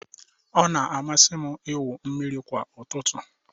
Ọ na-amasị m ịwụ mmiri kwa ụtụtụ